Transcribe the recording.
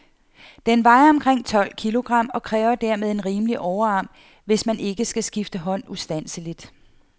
Den vejer omkring tolv kilogram, og kræver dermed en rimelig overarm, hvis der ikke skal skifte hånd ustandseligt.